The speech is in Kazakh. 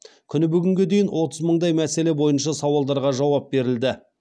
күні бүгінге дейін отыз мыңдай мәселе бойынша сауалдарға жауап берілді